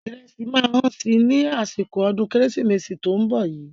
Ìrẹsì máa hán si ní àsìkò ọdún kérésìmesì tó ń bọ̀ yí.